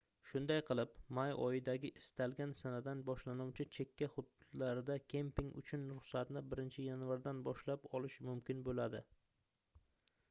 shunday qilib may oyidagi istalgan sanadan boshlanuvchi chekka hududlarda kemping uchun ruxsatni 1 yanvardan boshlab olish mumkin boʻladi